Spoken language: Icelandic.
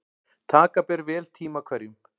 Taka ber vel tíma hverjum.